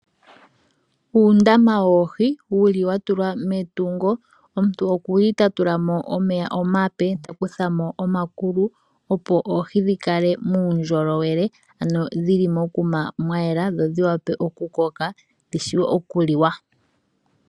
Uundama woohi wuli watulwa metungo. Omuntu oku li ta tula mo omeya omape, ta kutha mo omakulu, opo oohii dhikale muundjolowele, ano dhi li mokuma mwa yela dho dhi wape oku koka dhi shuwe oku liwa.